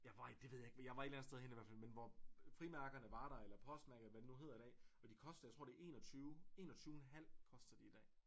Jeg var i det ved jeg ikke men jeg var et eller andet sted henne i hvert fald men hvor frimærkerne var der eller postmærkerne eller hvad de nu hedder i dag og de koster 21 21 en halv koster de i dag